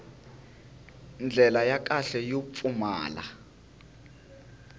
ndlela ya kahle yo pfumala